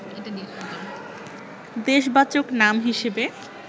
দেশবাচক নাম হিসেবে